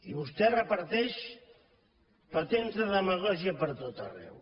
i vostè reparteix patents de demagògia per tot arreu